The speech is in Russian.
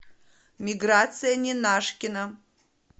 миграция ненашкина